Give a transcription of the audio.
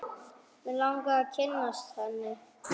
Mig langaði að kynnast henni.